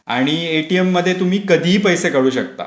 आणि ATM मध्ये तुम्ही कधीही.